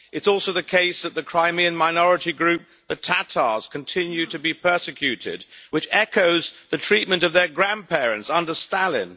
It is also the case that the Crimean minority group, the Tatars, continue to be persecuted, which echoes the treatment of their grandparents under Stalin.